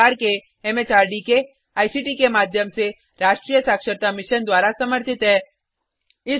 यह भारत सरकार के एमएचआरडी के आईसीटी के माध्यम से राष्ट्रीय साक्षरता मिशन द्वारा समर्थित है